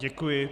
Děkuji.